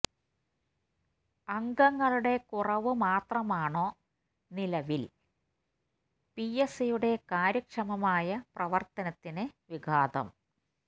അംഗങ്ങളുടെ കുറവ് മാത്രമാണോ നിലവില് പി എസ് സിയുടെ കാര്യക്ഷമമായ പ്രവര്ത്തനത്തിന് വിഘാതം